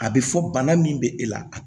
A bɛ fɔ bana min bɛ e la